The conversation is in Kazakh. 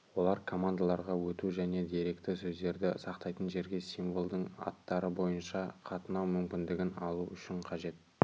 олар командаларға өту және деректі сөздерді сақтайтын жерге символдың аттары бойынша қатынау мүмкіндігін алу үшін қажет